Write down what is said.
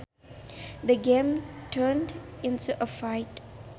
The game turned into a fight